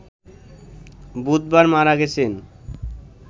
বুধবার মারা গেছেন